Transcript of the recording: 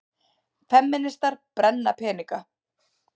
Femínistar brenna peninga